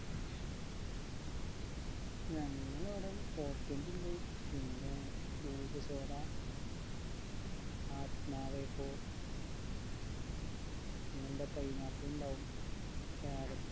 ഞങ്ങളവിടെ ണ്ട് പിന്നെ cube soda ആത്മാവെ പോ പിന്നെന്ത pineapple ഇണ്ടാവും ഹും carrot